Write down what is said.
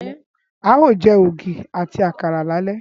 Á ó jẹ́ ògì àti àkàrà lálẹ́